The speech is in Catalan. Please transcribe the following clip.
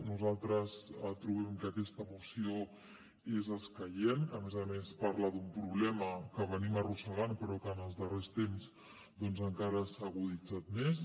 nosaltres tro·bem que aquesta moció és escaient que a més a més parla d’un problema que ar·rosseguem però que en els darrers temps doncs encara s’ha aguditzat més